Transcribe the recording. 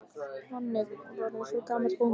Nonni var eins og gamall bóndi.